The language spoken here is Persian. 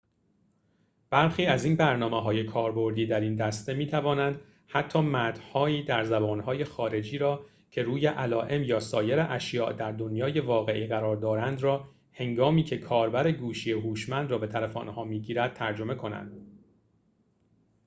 برخی از این برنامه‌های کاربردی در این دسته می‌توانند حتی متن‌هایی در زبان‌های خارجی را که روی علائم یا سایر اشیاء در دنیای واقعی قرار دارند را هنگامیکه کاربر گوشی هوشمند را به طرف آنها می‌گیرد ترجمه کنند